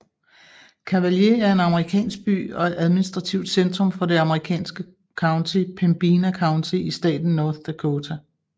Cavalier er en amerikansk by og administrativt centrum for det amerikanske county Pembina County i staten North Dakota